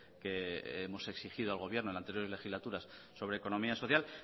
que hemos exigido al gobierno en anteriores legislaturas sobre economía social